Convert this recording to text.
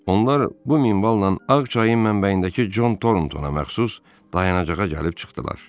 Onlar bu minvalla ağ çayın mənbəyindəki Con Torntona məxsus dayanacağa gəlib çıxdılar.